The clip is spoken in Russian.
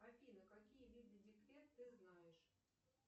афина какие виды декрет ты знаешь